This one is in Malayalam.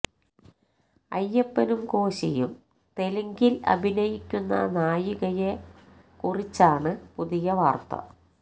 അയ്യപ്പനും കോശിയും തെലുങ്കില് അഭിനയിക്കുന്ന നായികയെ കുറിച്ചാണ് പുതിയ വാര്ത്ത